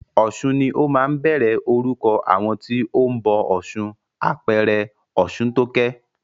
Ọ̀sun ni ó máa ń bẹ̀rẹ̀ orúkọ àwọn tí o ń bọ ọ̀ṣun, àpẹẹrẹ Ọ̀ṣuntókẹ́.